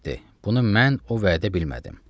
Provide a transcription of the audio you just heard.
Bunu mən o vədə bilmədim.